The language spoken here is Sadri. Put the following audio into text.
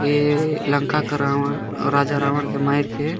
ए लंका के रावण राजा रावण के मइर के --